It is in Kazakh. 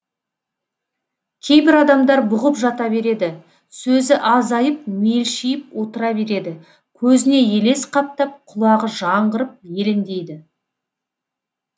кейбір адамдар бұғып жата береді сөзі азайып мелшиіп отыра береді көзіне елес қаптап құлағы жаңғырып елеңдейді